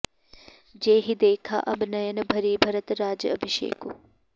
जेहिं देखाँ अब नयन भरि भरत राज अभिषेकु